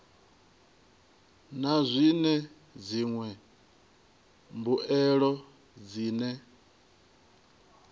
na zwine dziṅwe mbuelo dzine